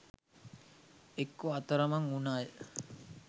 එක්කෝ අතරමං උන අය